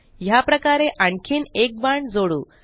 याप्रकारे आणखीन एक बाण जोडू